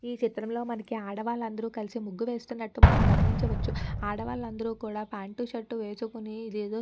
ఈ చిత్రంలో మనకి ఆడవాళ్ళందరూ కలిసి ముగ్గు వేస్తున్నటు మనం గమనించవచ్చు ఆడవాళ్ళందరూ కూడా ప్యాంట్ టూ షర్ట్ వేసుకొని ఇది ఏదో --